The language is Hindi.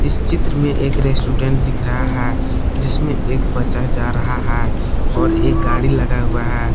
चित्र में एक रेस्टोरेंट दिख रहा है जिसमें एक बच्चा जा रहा है और एक गाड़ी लगा हुआ है।